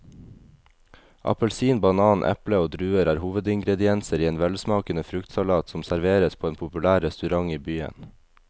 Appelsin, banan, eple og druer er hovedingredienser i en velsmakende fruktsalat som serveres på en populær restaurant i byen.